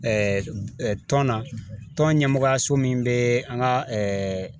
tɔn na, tɔn ɲɛmɔgɔyaso min bɛ an ka